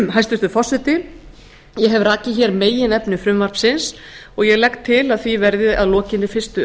hæstvirtur forseti ég hef hér rakið meginefni frumvarpsins og ég legg til að því verði að lokinni fyrstu